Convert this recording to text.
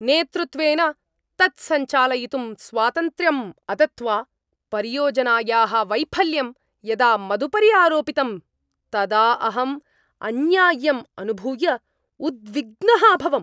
नेतृत्वेन तत् सञ्चालयितुं स्वातन्त्र्यं अदत्वा परियोजनायाः वैफल्यं यदा मदुपरि आरोपितं तदा अहम् अन्याय्यम् अनुभूय उद्विग्नः अभवम्।